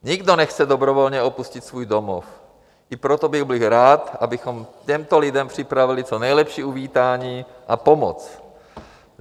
Nikdo nechce dobrovolně opustit svůj domov, i proto bych byl rád, abychom těmto lidem připravili co nejlepší uvítání a pomoc.